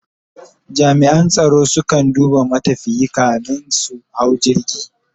jami'an tsaro su kan duba matafiyi kamin su hau jirgi